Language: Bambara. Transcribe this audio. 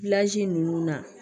ninnu na